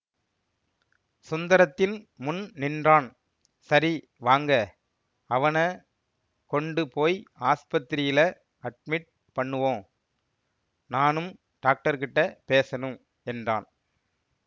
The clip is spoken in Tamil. சுந்தரத்தின் முன் நின்றான் சரி வாங்க அவன கொண்டு போய் ஆஸ்பத்திரியில அட்மிட் பண்ணுவோம் நானும் டாக்டர்கிட்ட பேசணும் என்றான்